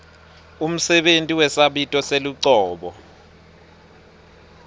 umsebenti wesabito selucobo